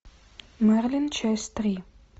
мерлин часть три